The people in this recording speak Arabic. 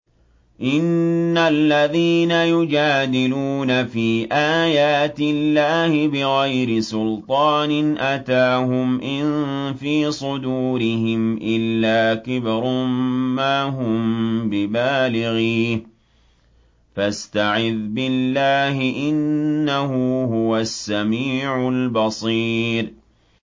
إِنَّ الَّذِينَ يُجَادِلُونَ فِي آيَاتِ اللَّهِ بِغَيْرِ سُلْطَانٍ أَتَاهُمْ ۙ إِن فِي صُدُورِهِمْ إِلَّا كِبْرٌ مَّا هُم بِبَالِغِيهِ ۚ فَاسْتَعِذْ بِاللَّهِ ۖ إِنَّهُ هُوَ السَّمِيعُ الْبَصِيرُ